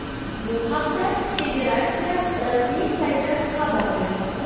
Bu haqda federatsiya rasmiy sayti xabar bermoqda .